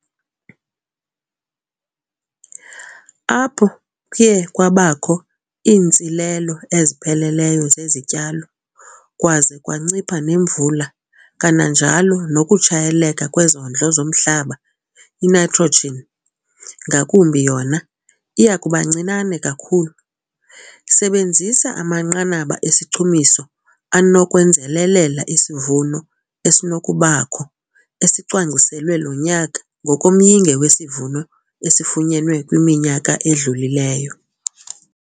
Apho kuye kwabakho iintsilelo ezipheleleyo zezityalo, kwaze kwancipha nemvula kananjalo nokutshayeleka kwezondlo zomhlaba, iNitrogen, ngakumbi yona, iya kuba ncinane kakhulu. Sebenzisa amanqanaba esichumiso anokwenzelelela isivuno esinokubakho esicwangciselwe lo nyaka ngokomyinge wesivuno esifunyenwe kwiminyaka edlulileyo.